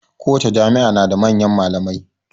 Kowace jami'a na da manyan malamai